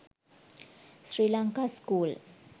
sri lanka school